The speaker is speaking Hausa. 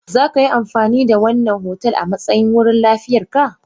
Za ka yi amfani da wannan otal a matsayin wurin liyafar ka?